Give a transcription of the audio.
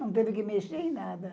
Não teve que mexer em nada.